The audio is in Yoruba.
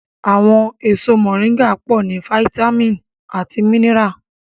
Àwọn èso mọ̀ríńgà pọ̀ ní fáyítámìnì àti mínírà